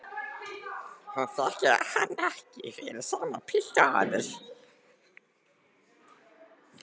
Hún þekkir hann ekki fyrir sama pilt og áður.